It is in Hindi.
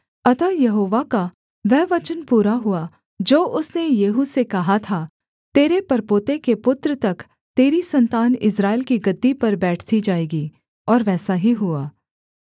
अतः यहोवा का वह वचन पूरा हुआ जो उसने येहू से कहा था तेरे परपोते के पुत्र तक तेरी सन्तान इस्राएल की गद्दी पर बैठती जाएगी और वैसा ही हुआ